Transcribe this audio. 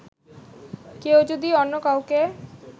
কেউ যদি অন্য কাউকে